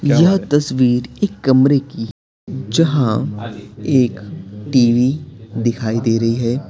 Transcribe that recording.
यह तस्वीर एक कमरे की जहां एक टी_वी दिखाई दे रही है।